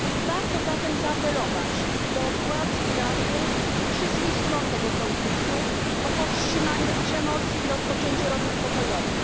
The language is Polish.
Warto zatem zaapelować do władz Iraku i wszystkich stron tego konfliktu o powstrzymanie przemocy i rozpoczęcie rozmów pokojowych.